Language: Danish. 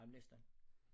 Ej men næsten